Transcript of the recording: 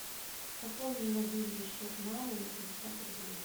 пополни мобильный счет мамы на пятьдесят рублей